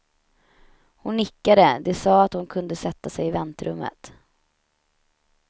Hon nickade, de sade att hon kunde sätta sig i väntrummet.